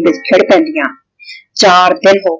ਦੀ ਚਾਰ ਦਿਨ ਹੋ